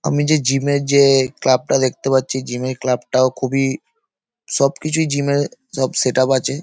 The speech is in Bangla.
আমি যে জিম -এর যে ক্লাব টা দেখতে পাচ্ছি জিম -এর ক্লাব টাও খুবই সব কিছুই জিম এ সব সেটআপ আছে।